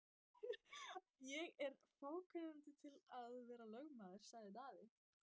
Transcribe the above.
Ég er of fákunnandi til að vera lögmaður, sagði Daði.